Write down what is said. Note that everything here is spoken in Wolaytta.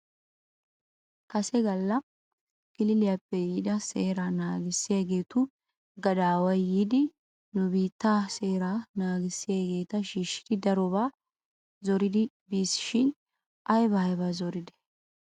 Kase gala kililiyaappe yiida seeraa naagissiyaageetu gadaaway yiidi nu biittaa seeraa naagissiyaageeta shiishshidi darobaa zoridi bis shin aybaa aybaa zoridee?